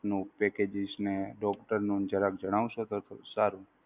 નો packages ને doctor નું જણા જણાવશો તો સારું.